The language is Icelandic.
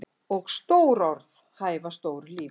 Og stór orð hæfa stóru lífi.